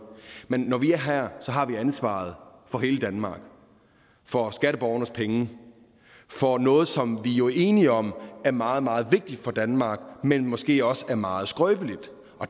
men når vi er her har vi ansvaret for hele danmark for skatteborgernes penge for noget som vi jo er enige om er meget meget vigtigt for danmark men måske også er meget skrøbeligt